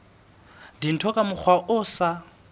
dintho ka mokgwa o sa